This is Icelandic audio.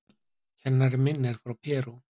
Kennarinn minn er frá Perú.